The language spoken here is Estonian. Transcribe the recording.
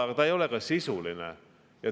Ja ta ei ole ka sisuline.